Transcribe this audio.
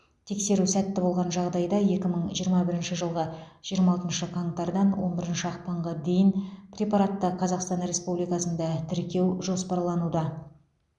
тексеру сәтті болған жағдайда екі мың жиырма бірінші жылғы жиырма алтыншы қаңтардан он бірінші ақпанға дейін препаратты қазақстан республикасында тіркеу жоспарлануда